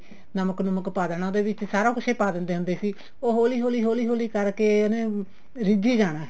ਨਮਕ ਨੁਮ੍ਕ ਪਾ ਦੇਣਾ ਉਹਦੇ ਵਿੱਚ ਸਾਰਾ ਕੁੱਝ ਹੀ ਪਾ ਦਿੰਦੇ ਹੁੰਦੇ ਸੀ ਉਹ ਹੋਲੀ ਹੋਲੀ ਹੋਲੀ ਹੋਲੀ ਕਰਕੇ ਉਹਨੇ ਰਿੱਝੀ ਜਾਣਾ